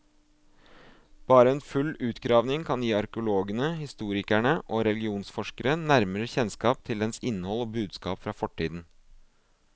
Bare en full utgravning kan gi arkeologene, historikere og religionsforskere nærmere kjennskap til dens innhold og budskap fra fortiden.